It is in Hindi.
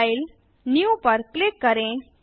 फाइल जीटीजीटी न्यू पर क्लिक करें